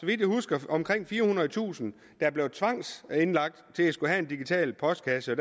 jeg husker omkring firehundredetusind der blev tvangsindlagt til at skulle have en digital postkasse og